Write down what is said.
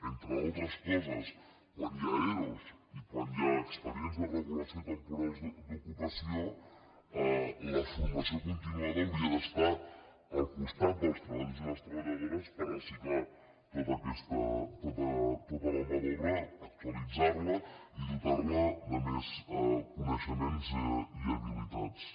entre altres coses quan hi ha ero i quan hi ha expedients de regulació temporals d’ocupació la formació continuada hauria d’estar al costat dels treballadors i les treballadores per reciclar tota la mà d’obra actualitzar la i dotar la de més coneixements i habilitats